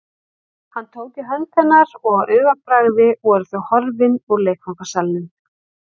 Hann tók í hönd hennar og á augabragði voru þau horfin úr leikfangasalnum.